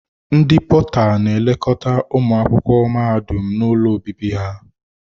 Ndị pọta n'elekọta ụmụ akwụkwọ mahadum n'ụlọ obibi ha.